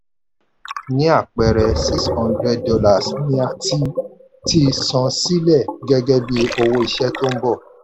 ní apẹẹrẹ six hundred dollars ni a ti ti san sílẹ̀ gẹ́gẹ́ bí owó iṣẹ́ tó ń bọ̀.